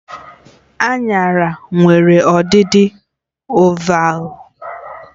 Aṅara nwere ọdịdị ovalvụ